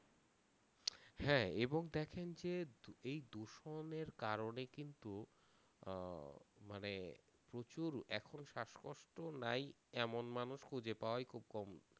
হ্যাঁ এবং দ্যাখেন যে এই দূষণের কারণে কিন্তু আহ মানে প্রচুর এখন শ্বাসকষ্ট নাই এমন মানুষ খুঁজে পাওয়াই খুব কম